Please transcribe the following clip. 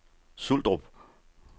Suldrup